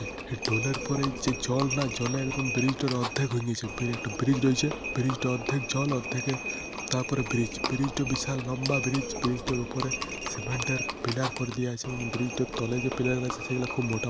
হে টোলের পরেই যে জল না জলে একদম ব্রিজ টোর অদ্ধেক হয়ে নিছে। একটা ব্রিজ রইছে। ব্রিজ টার অদ্ধেক জল অদ্ধেকে তাওপরে ব্রিজ । ব্রিজ টা বিশাল লম্বা ব্রিজ । ব্রিজ টার উপরে সিমেন্টের পিলার করে দিয়া আছে এবং ব্রিজ টোর তলে যে পিলার গেছে সেগালা খুব মোটা।